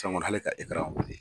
Sisan Kɔni k'ale ka wuli.